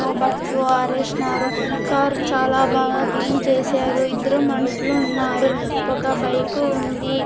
బట్లు ఆరేసినారు కార్ చాలా బాగా క్లీన్ చేశారు ఇద్దరూ మనసులు ఉన్నారు ఒక బైకు ఉంది.